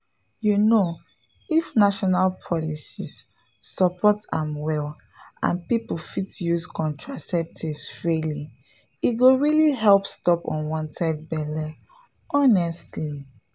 you know if national policies support am well and people fit use contraceptives freely e go really help stop unwanted belle — honestly